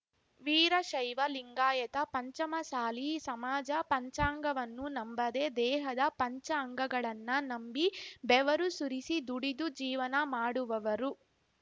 ವೀರಶೈವ ಲಿಂಗಾಯತ ಪಂಚಮಸಾಲಿ ಸಮಾಜ ಪಂಚಾಂಗವನ್ನು ನಂಬದೆ ದೇಹದ ಪಂಚ ಅಂಗಗಳನ್ನ ನಂಬಿ ಬೆವರು ಸುರಿಸಿ ದುಡಿದು ಜೀವನ ಮಾಡುವವರು